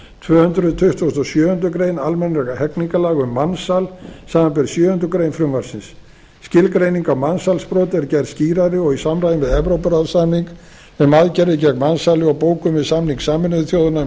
tvö hundruð tuttugustu og sjöundu grein almennra hegningarlaga um mansal samanber sjöundu greinar frumvarpsins skilgreining á mansalsbroti er gerð skýrari og í samræmi við evrópuráðssamning um aðgerðir gegn mansali og bókun við samning sameinuðu þjóðanna um